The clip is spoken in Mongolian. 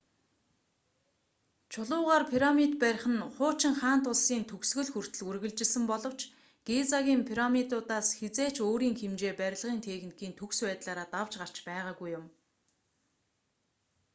чулуугаар пирамид барих нь хуучин хаант улсын төгсгөл хүртэл үргэлжилсэн боловч гизагийн пирамидуудаас хэзээ ч өөрийн хэмжээ барилгын техникийн төгс байдлаараа давж гарч байгаагүй юм